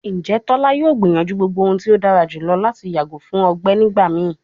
Njẹ tola yoo gbiyanju gbogbo ohun ti o dara julọ lati yago fun ọgbẹ nigbamii?